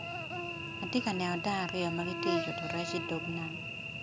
Atye ka neno dano aryo magi tye yuto rec i dog nam.